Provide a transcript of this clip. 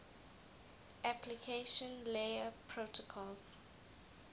application layer protocols